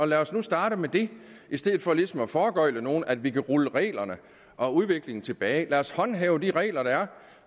lad os nu starte med det i stedet for ligesom at foregøgle nogen at vi kan rulle reglerne og udviklingen tilbage lad os håndhæve de regler der er